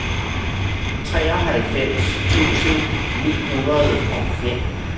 treoghalvfems tusind ni hundrede og fem